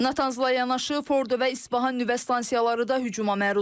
Natanzla yanaşı Fordo və İsfahan nüvə stansiyaları da hücuma məruz qalıb.